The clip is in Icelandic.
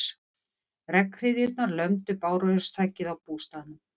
Regnhryðjurnar lömdu bárujárnsþakið á bústaðnum.